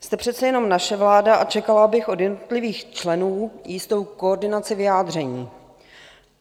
Jste přece jenom naše vláda a čekala bych od jednotlivých členů jistou koordinaci vyjádření.